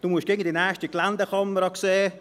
Du musst immer in die nächste Geländekammer sehen.